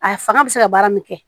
A fanga bɛ se ka baara min kɛ